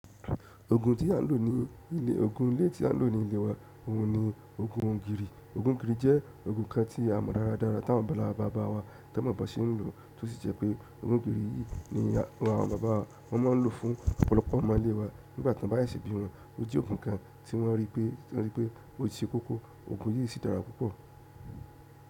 Òògùn tí à ń lò ní ilé, òògùn ilé tí à ń lò ní ilé wa, òhun ni òògùn ògìrì. Òògùn ògìrì jẹ́ oògùn kan tí a mọ̀ dára dára tá àwọn bàbá ńlá bàbá wa tá n mọ̀ bọ́n ṣe ń lò, tó sì jẹ́ pé oògùn ògìrì yìí ni àwọn bàbá wa wọ́n máa ń lò fún ọ̀pọ̀lọpọ̀ ọmọ ilé wa nígbà tí wọ́n bá ṣe bí wọn. Ó jẹ́ òògùn kan tí wọ́n rí pé, wọ́n rí pé ó ṣe kókó. Òògùn yìí sì dára púpọ̀.